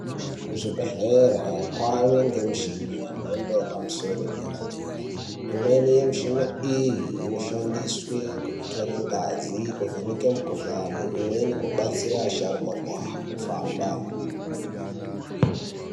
Zvibhedhlera kwave ngemishini yemhando yepamisoro yedera-dera. Imweni yemishina iyi inoshandiswe kutore ngazi, kuvheneke mikuhlani, imweni kubatsira asharukwa kuhamba